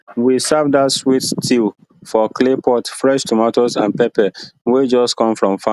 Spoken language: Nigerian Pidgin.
we serve dat sweet stew for clay pot fresh tomatoes and pepper wey just come from farm